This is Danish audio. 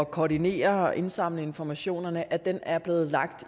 koordinere og indsamle informationerne er blevet lagt